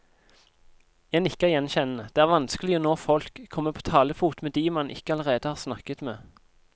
Jeg nikker gjenkjennende, det er vanskelig å nå folk, komme på talefot med de man ikke allerede har snakket med.